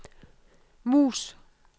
mus